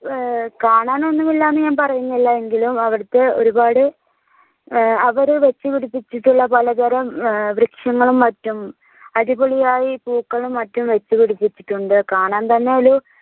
ഏർ കാണാനൊന്നുമില്ല എന്ന ഞാൻ പറയുന്നില്ല എങ്കിലും അവ്ടെതെ ഒരുപാട് ഏർ അവര് വെച്ചുപിടിപ്പിച്ചിട്ടുള്ള പലതരം വൃക്ഷങ്ങളും മറ്റും അടിപൊളിയായി പൂക്കളും മറ്റും വെച്ചുപിടിപ്പിച്ചിട്ടുണ്ട് കാണാൻതന്നെയൊരു